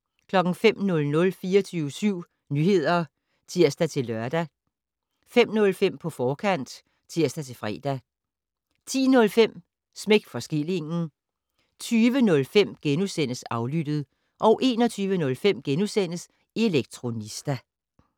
05:00: 24syv Nyheder (tir-lør) 05:05: På forkant (tir-fre) 10:05: Smæk for skillingen 20:05: Aflyttet * 21:05: Elektronista *